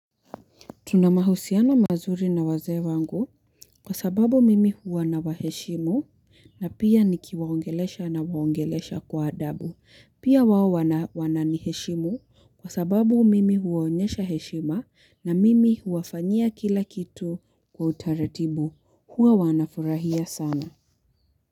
Tunamahusiano mahusiano mazuri na wazee wangu kwa sababu mimi huwa na waheshimu na pia nikiwaongelesha na waongelesha kwa adabu. Pia wao wananiheshimu kwa sababu mimi huwaonyesha heshima na mimi huwafanyia kila kitu kwa utaratibu. Huwa wanafurahia sana.